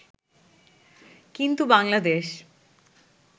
কিন্তু বাংলাদেশ